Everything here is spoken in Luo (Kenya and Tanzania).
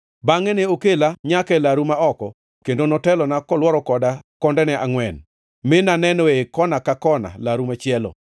Bangʼe ne okela nyaka e laru ma oko kendo notelona kolworo koda kondene angʼwen, mi naneno ei kona ka kona laru machielo.